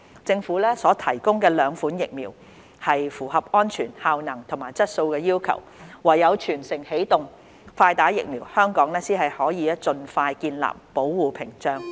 政府所提供的兩款疫苗符合安全、效能和質素要求，唯有"全城起動，快打疫苗"，香港才能盡快建立保護屏障。